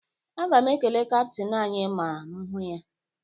Aga m ekele kaptịn anyị ma m hụ ya